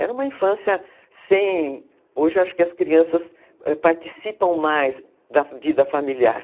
Era uma infância sem... Hoje acho que as crianças participam mais da vida familiar.